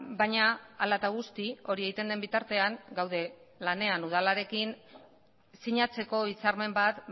baina hala eta guzti hori egiten den bitartean gaude lanean udalarekin sinatzeko hitzarmen bat